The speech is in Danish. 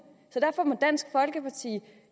så derfor må dansk folkeparti